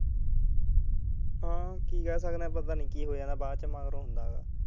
ਹਾਂ ਕੀ ਕਹਿ ਸਕਦੇ ਐ ਬਾਅਦ ਚੋਂ ਮਗਰੋਂ ਹੁੰਦਾ ਗਾ